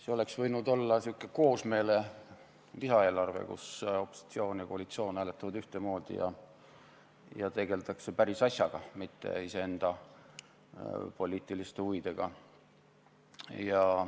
See oleks võinud olla säärane koosmeele lisaeelarve, kus opositsioon ja koalitsioon hääletavad ühtemoodi ja tegeldakse päris asjaga, mitte iseenda poliitiliste huvidega.